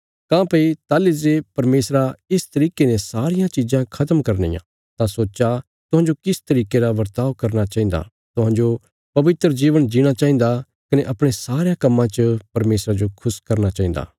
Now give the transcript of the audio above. काँह्भई ताहली जे परमेशरा इस तरिके ने सारियां चिज़ां खत्म करनियां तां सोच्चा तुहांजो किस तरिके रा बर्ताव करना चाहिन्दा तुहांजो पवित्र जीवन जीणा चाहिन्दा कने अपणे सारयां कम्मां च परमेशरा जो खुश करना चाहिन्दा